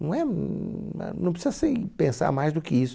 Não é, n na não precisa se pensar mais do que isso.